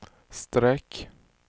streck